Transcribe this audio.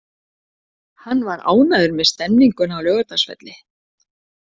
Hann var ánægður með stemninguna á Laugardalsvelli.